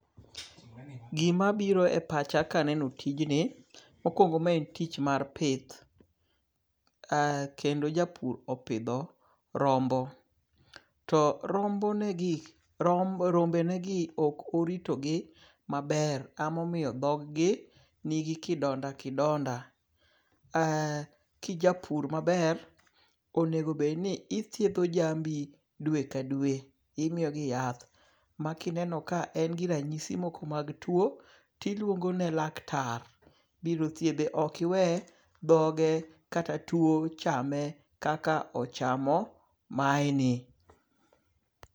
Gima biro e pacha ka aneno tijni. Mokwongo ma en tich mar pith. Kendo japur opidho rombo. To rombe ne gi ok orito gi maber emomiyo dhogi ni gi mbala. Kijapur maber onego bed ni ithiedho jambi dwe ka dwe. Imiyo gi yath. Ma kineno ka en gi ranyisi moko mag tuo tiluongo ne laktar biro thiedhe. Ok iwe dhoge kata tuo chame kaka ochamo mae ni.